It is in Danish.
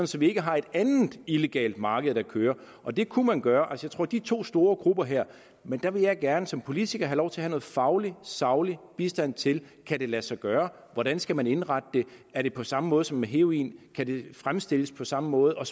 så vi ikke har et andet illegalt marked der kører og det kunne man gøre for de to store grupper her men der vil jeg gerne som politiker have lov til at have noget faglig saglig bistand til om kan lade sig gøre hvordan skal man indrette det er det på samme måde som med heroin kan det fremstilles på samme måde og